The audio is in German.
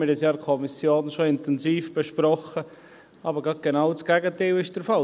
Wir haben es ja in der Kommission schon intensiv besprochen, aber gerade genau das Gegenteil ist der Fall.